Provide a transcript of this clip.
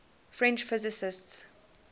french physicists